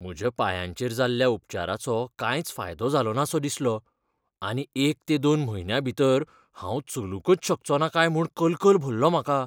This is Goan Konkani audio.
म्हज्या पांयाचेर जाल्ल्या उपचाराचो कांयच फायदो जालोनासो दिसलो आनी एक ते दोन म्हयन्यां भितर हांव चलूंकच शकचोना काय म्हूण कलकल भरलो म्हाका.